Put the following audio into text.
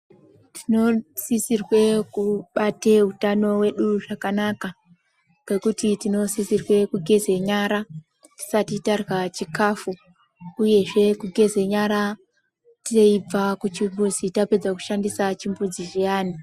Tinosisirwe kubate hutano hwedu zvakanaka ngekuti tinosisirwe kugeze nyara tisati tarya chikafu uyezve kugeze nyara teibva kuchimbuzi tapedza kushandisa chimbuzi zviyani .